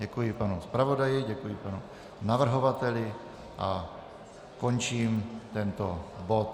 Děkuji panu zpravodaji, děkuji panu navrhovateli a končím tento bod.